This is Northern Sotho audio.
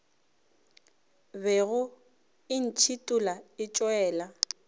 bego e ntšhithola e tšwela